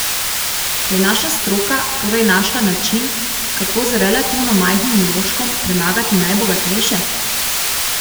Je naša stroka torej našla način, kako z relativno majhnim vložkom premagati najbogatejše?